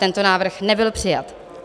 Tento návrh nebyl přijat.